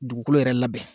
Dugukolo yɛrɛ labɛn